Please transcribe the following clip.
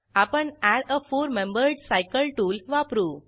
आपण add a four membered cycle वापरू